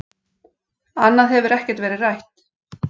Annað hefur ekkert verið rætt